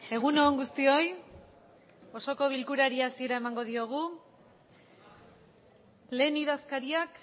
egun on guztioi osoko bilkurari hasiera emango diogu lehen idazkariak